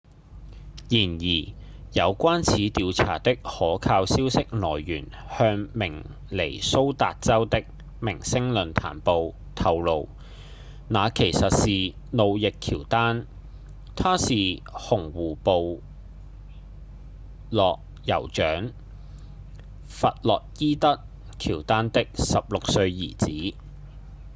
然而有關此調查的可靠消息來源向明尼蘇達州的《明星論壇報》透露那其實是路易·喬丹他是紅湖部落酋長弗洛伊德·喬丹的16歲兒子